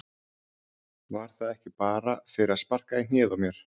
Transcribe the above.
Var það ekki bara fyrir að sparka í hnéð á mér?